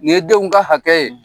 Nin ye denw ka hakɛ ye